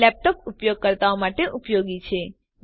આ લેપટોપ ઉપયોગકર્તાઓ માટે ઉપયોગી છે